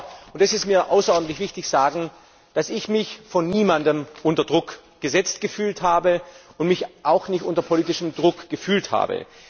Ich darf aber und das ist mir außerordentlich wichtig sagen, dass ich mich von niemandem unter Druck gesetzt gefühlt habe und mich auch nicht unter politischem Druck gefühlt habe.